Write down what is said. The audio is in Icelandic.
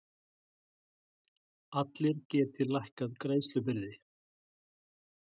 Allir geti lækkað greiðslubyrði